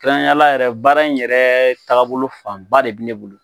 kɛrɛnkɛrɛn na yɛrɛ baara in yɛrɛ taabolo fanba de be ne bolo.